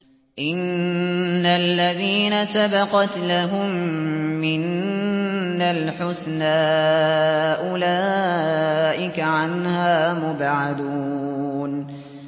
إِنَّ الَّذِينَ سَبَقَتْ لَهُم مِّنَّا الْحُسْنَىٰ أُولَٰئِكَ عَنْهَا مُبْعَدُونَ